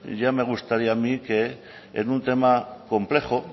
ya me gustaría a mí que en un tema complejo